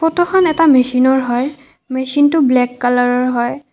ফটোখন এটা মেচিনৰ হয় মেচিনটো ব্লেক কালাৰৰ হয়।